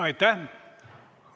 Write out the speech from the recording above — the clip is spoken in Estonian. Aitäh!